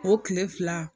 O kile fila